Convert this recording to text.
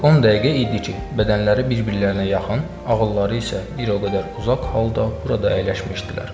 Artıq 10 dəqiqə idi ki, bədənləri bir-birlərinə yaxın, ağılları isə bir o qədər uzaq halda burada əyləşmişdilər.